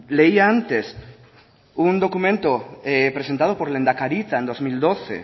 leía antes un documento presentado por lehendakaritza en dos mil doce